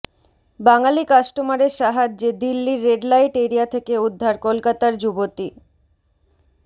বাঙালি কাস্টমারের সাহায্যে দিল্লির রেড লাইট এরিয়া থেকে উদ্ধার কলকাতার যুবতী